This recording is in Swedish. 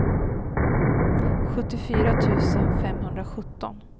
sjuttiofyra tusen femhundrasjutton